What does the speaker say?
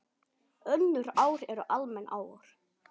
Önnur ár eru almenn ár.